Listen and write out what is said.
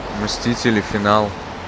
мстители финал